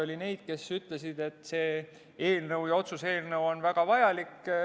Oli neid, kes ütlesid, et see otsuse-eelnõu on väga vajalik.